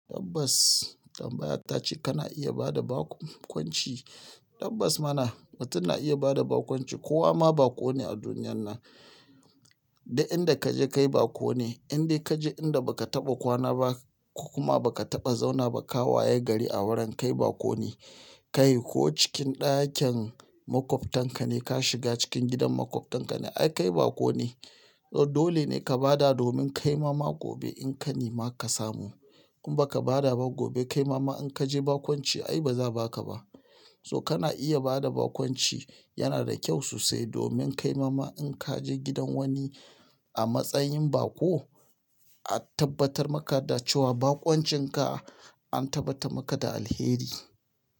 Tabbas, tambayar ta ce kana iya bada baƙon kwanci. Tabbas muna, mutum na iya bada bakonci. Kowa ma baƙo ne a duniyan nan. Duk inda ka je kai baƙo ne. Inda ka je inda ba ka taɓa kwana ba kuma ba ka taɓa zauna ba, ka waye gari a wurin kai baƙo ne. Kai ko cikin ɗakin maƙwabtan ka ne ka shiga cikin gidan maƙwabtan ka ne, ai kai baƙo ne. Dole ne ka bada domin kaima gobe in ka nema ka samu. In ba ka bada ba gobe kai mama in ka je bakonci ai ba za a baka ba. To kana iya bada bakonci, yana da kyau sosai domin kai mama in ka je gidan wani a matsayin baƙo, a tabbatar maka da cewa bakoncin ka an tabbatar maka da alheri.